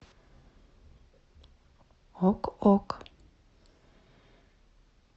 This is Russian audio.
ок ок